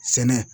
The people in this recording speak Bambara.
Sɛnɛ